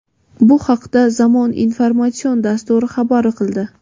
Bu haqda "Zamon" informatsion dasturi xabar qildi.